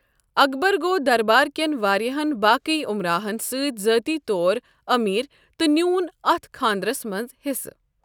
اکبر گوٚو دربار کٮ۪ن واریاہن باقٕے عمراہن سۭتۍ ذٲتی طور أمیر تہٕ نیوٗن اتھ خانٛدرس منٛز حِصہٕ۔